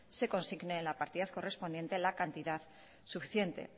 se consigne la partida correspondiente a la cantidad suficiente